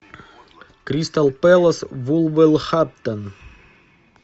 кристал пэлас вулверхэмптон